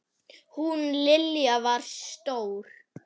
Hún Lilja var stór.